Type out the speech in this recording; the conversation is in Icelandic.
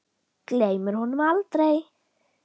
Gleymir honum aldrei.